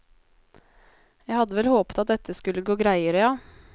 Jeg hadde vel håpet at dette skulle gått greiere, ja.